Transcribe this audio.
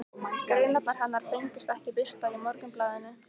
Greinarnar hennar fengust ekki birtar í Morgunblaðinu.